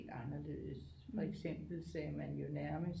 Anderledes for eksempel sagde man jo nærmest